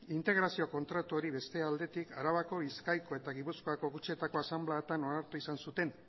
integrazio kontratuari beste aldetik arabako bizkaiko eta gipuzkoako kutxetako asanbladetan onartu izan zuten